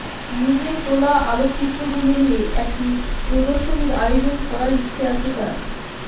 নিজের তোলা আলোকচিত্রগুলো নিয়ে একটি প্রদর্শনীর আয়োজন করার ইচ্ছে আছে তার